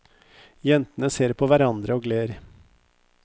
Jentene ser på hverandre og ler.